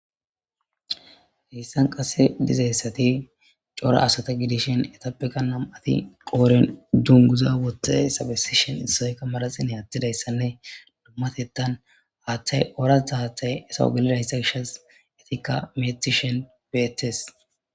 Heyssan qase dizeyssati cora asata gidishin etappeka na'mati qoren dunguza wohte sabesishen issoyka madasinhe attidayssanne dummatettan haaththay oratha haathay esa u galida hissa gishas etikka metishen beetes